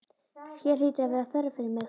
Hér hlýtur að vera þörf fyrir mig.